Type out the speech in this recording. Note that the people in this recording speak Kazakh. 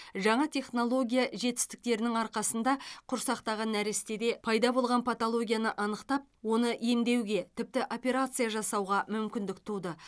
жаңа технология жетістіктерінің арқасында құрсақтағы нәрестеде пайда болған патологияны анықтап оны емдеуге тіпті операция жасауға мүмкіндік туды